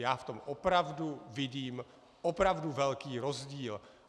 Já v tom opravdu vidím opravdu velký rozdíl.